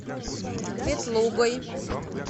ветлугой